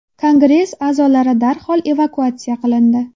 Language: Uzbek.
Kongress a’zolari darhol evakuatsiya qilindi.